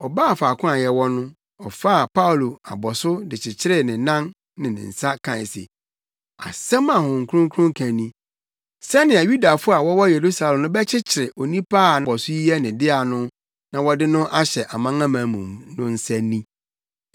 Ɔbaa faako a yɛwɔ no, ɔfaa Paulo abɔso de kyekyeree ne nan ne ne nsa kae se, “Asɛm a Honhom Kronkron ka ni, ‘Sɛnea Yudafo a wɔwɔ Yerusalem no bɛkyekyere onipa a abɔso yi yɛ ne dea no, na wɔde no ahyɛ amanamanmufo no nsa ni!’ ”